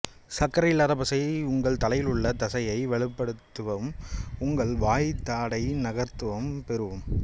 சர்க்கரை இல்லாத பசை உங்கள் தலையிலுள்ள தசையை வலுப்படுத்தவும் உங்கள் வாய் தாடை நகர்த்தவும் பெறவும்